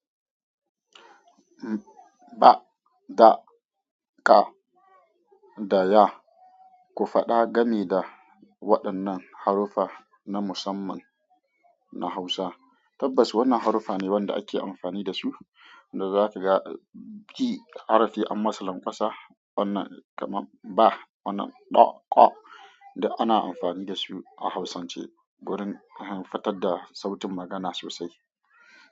Ba, da, ka, da ya. Ku faɗa gani da waɗannan haruffa na musamman na Hausa. Tabbas wannan haruffa ne waɗanda ake amfani dasu, da zakaga ki harfi an masa lanƙwasa wannan kamar ba, wannan ɗa, ƙa, di ana amfani dasu a Hausance gurin fitadda sautin magana sosai.